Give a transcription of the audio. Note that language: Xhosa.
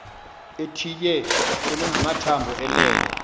ethitye engamathambo elele